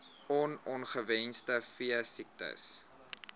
on ongewenste veesiektes